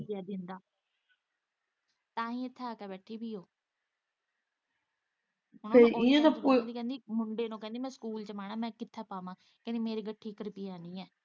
ਏ ਦਿੰਦਾ ਤਾਂਹੀ ਇੱਥੇ ਆ ਕੇ ਬੈਠੀ ਦੀ ਮੁੰਡੇ ਨੂੰ ਕਹਿੰਦੀ ਮੈਂ ਸਕੂਲ ਚ ਪਾਉਣਾ ਮੈਂ ਕਿੱਥੇ ਪਾਵਾ ਮੇਰੀ ਗੱਠੀ ਇੱਕ ਰੁਪਇਆ ਨੀ ਏ ਤੇ ਇਹ ਦਿੰਦਾ।